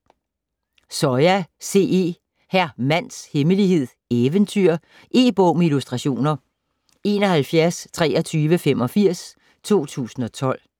Soya, C. E.: Hr. Mands Hemmelighed: Eventyr E-bog med illustrationer 712385 2012.